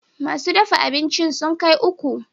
Masu dafa abincin sun kai uku